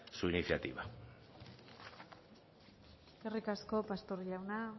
su iniciativa eskerrik asko pastor jauna